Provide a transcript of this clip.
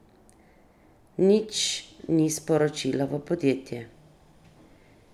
Nič ni sporočila v podjetje.